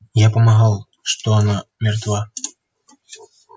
я помогал что она мертва